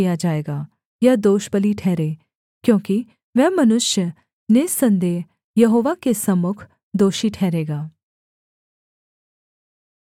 यह दोषबलि ठहरे क्योंकि वह मनुष्य निःसन्देह यहोवा के सम्मुख दोषी ठहरेगा